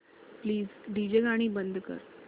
please DJ गाणी बंद कर